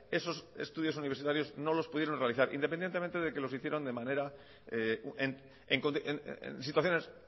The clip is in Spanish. esos estudios universitarios no los pudieron realizar independientemente de que los hicieron de manera en situaciones